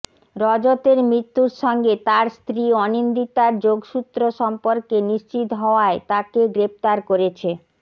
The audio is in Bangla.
রজতের মৃত্যুর সঙ্গে তাঁর স্ত্রী অনিন্দিতার যোগসূত্র সম্পর্কে নিশ্চিত হওয়ায় তাঁকে গ্রেফতার করেছে